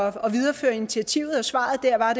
at videreføre initiativet og svaret der var